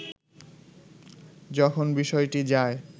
যখন বিষয়টি যায়